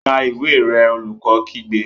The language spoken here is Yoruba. Ka ìwé rẹ! Olùkọ́ kígbe.